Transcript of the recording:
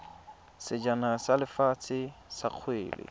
sejana sa lefatshe sa kgwele